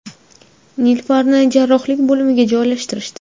Nilufarni Jarrohlik bo‘limiga joylashtirishdi.